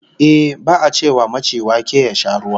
Ehh, ba'a ce wa maci wake ya sha ruwa